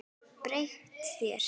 Breytt þér.